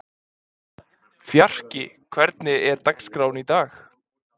Fjarki, hvernig er dagskráin í dag?